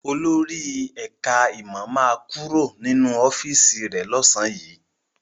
Olórí ẹ̀ká ìmọ̀ ma kúrò nínú ọ́fíìsì rẹ̀ lọ́sàn yìí